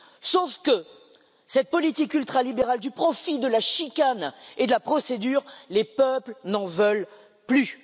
Sauf que cette politique ultralibérale du profit, de la chicane et de la procédure, les peuples n'en veulent plus.